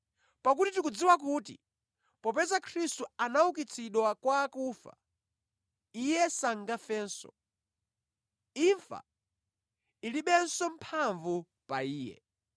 Pakuti tikudziwa kuti popeza Khristu anaukitsidwa kwa akufa, Iye sangafenso. Imfa ilibenso mphamvu pa Iye.